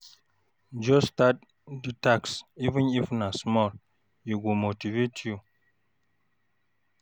Just start di task, even if na small, e go motivate you.